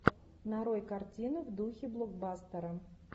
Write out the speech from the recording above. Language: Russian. нарой картину в духе блокбастера